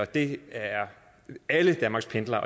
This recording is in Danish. det er alle danmarks pendlere